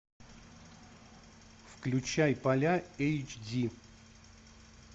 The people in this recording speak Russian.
включай поля эйч ди